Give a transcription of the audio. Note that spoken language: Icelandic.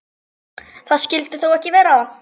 Það skyldi þó ekki vera.